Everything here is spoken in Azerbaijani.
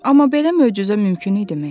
Amma belə möcüzə mümkün idimi?